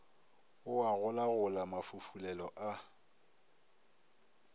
o a golagola mafufulelo a